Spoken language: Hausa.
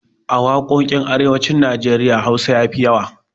A waƙoƙin arewacin Najeriya Hausa ya fi yawa.